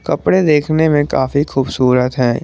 कपड़े देखने में काफी खूबसूरत है।